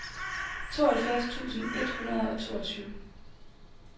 tooghalvfjerds tusind et hundrede og toogtyve